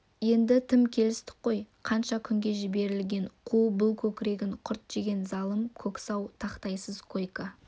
енді тым келістік қой қанша күнге жіберілген қу бұл көкірегін құрт жеген залым көксау тақтайсыз койка